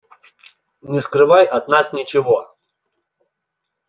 не скрывай от нас ничего